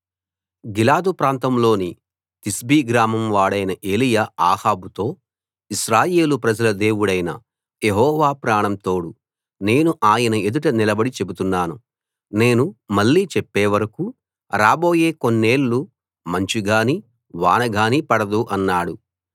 గిలాదు ప్రాంతంలోని తిష్బీ గ్రామం వాడైన ఏలీయా అహాబుతో ఇశ్రాయేలు ప్రజల దేవుడైన యెహోవా ప్రాణం తోడు నేను ఆయన ఎదుట నిలబడి చెబుతున్నాను నేను మళ్ళీ చెప్పే వరకూ రాబోయే కొన్నేళ్ళు మంచు గానీ వాన గానీ పడదు అన్నాడు